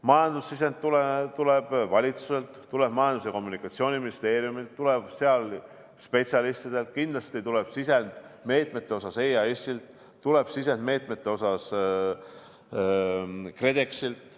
Majandussisend tuleb valitsuselt, see tuleb Majandus- ja Kommunikatsiooniministeeriumilt, see tuleb spetsialistidelt, kindlasti tulevad sisendid meetmete kohta EAS-ilt ja KredExilt.